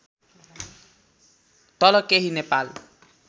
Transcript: तल केही नेपाल